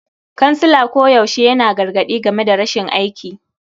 Kansila koyaushe yana gargadi game da rashin aiki.